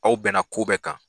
Aw bɛnna ko bɛɛ kan